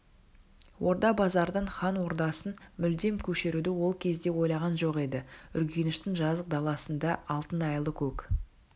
орда-базардан хан ордасын мүлдем көшіруді ол кезде ойлаған жоқ еді үргеніштің жазық даласында алтын айлы көк